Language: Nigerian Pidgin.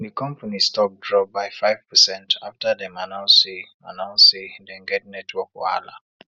di company stock drop by five percent after dem announce say announce say dem get network wahala